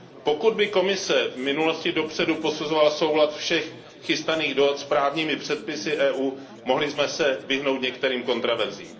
Pokud by Komise v minulosti dopředu posuzovala soulad všech chystaných dohod s právními předpisy Evropské unie, mohli jsme se vyhnout některým kontroverzím.